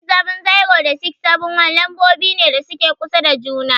670 and 671 lambobi ne da suke kusa da juna.